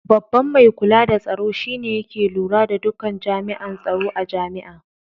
Babban mai kula da tsaro shi ne yake lura da duka jami'an tsaro a jami'a.